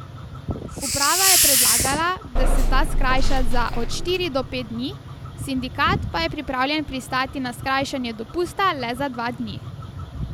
Uprava je predlagala, da se ta skrajša za od štiri do pet dni, sindikat pa je pripravljen pristati na skrajšanje dopusta le za dva dni.